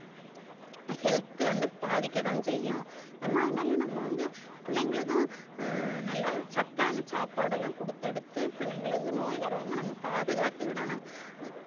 health வந்து பாதிக்கதான் செய்யும் நம்ம அதனால நம்ம வந்து பிள்ளைங்களுக்கும் அஹ் நல்ல சத்தான சாப்பாடெல்லாம் குடுத்தடுத்து பிள்ளைங்களுக்கு நோய் வராம நம்ம பாதுகாத்துக்கிடணும்